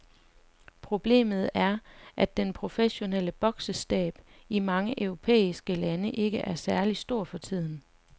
Problemet er, at den professionelle boksestab i mange europæiske lande ikke er særlig stor for tiden.